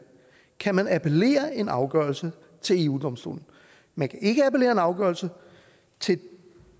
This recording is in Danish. kan man appellere en afgørelse til eu domstolen man kan ikke appellere en afgørelse til